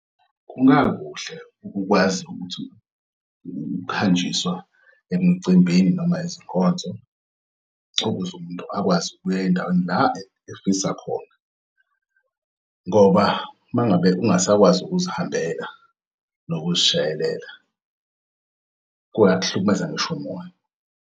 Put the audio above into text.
Kungakuhle ukwazi ukuthi ukuhanjiswa emcimbini noma izinkonzo ukuze umuntu akwazi ukuya endaweni la efisakhona, ngoba mangabe ungasakwazi ukuzihambela nokuzishayelela kuyakuhlukumeza ngisho umoya.